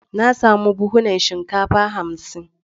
Na samu buhunan shinkafa hamsin.